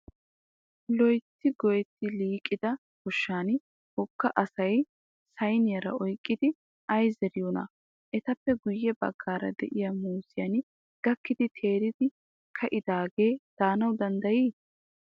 Loyitti goyetti liiqida goshshan wogga asayi sayiniyaara oyiqqidi ayi zeriyoonaa? Etappe guyye baggaara diya muuzziyaan gakkidi teeridi ka'idaage danawu danddayii?